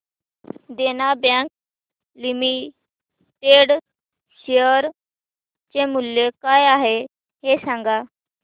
देना bank limited share चे मूल्य काय आहे हे सांगा